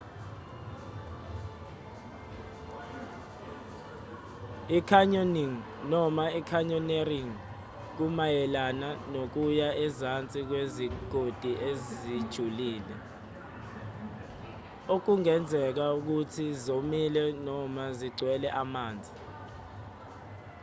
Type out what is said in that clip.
i-canyoning noma: canyoneering kumayelana nokuya ezansi kwezigodi ezijulile okungezeka ukuthi zomile noma zigcwele amanzi